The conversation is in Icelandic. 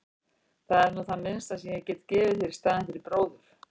Það er nú það minnsta sem ég get gefið þér í staðinn fyrir bróður.